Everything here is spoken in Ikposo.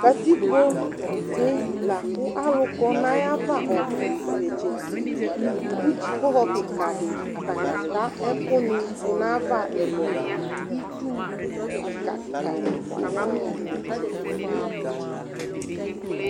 Katikpoɖi lakʋ alʋ kɔ n'ayava ɔbʋ titse nʋ titse',kʋ dzipohɔ kikaɖi atani ataa ɛkʋni n'ayava ɛlʋɛlʋItsu kika, kika ɛfua aya nʋ itsɛɖi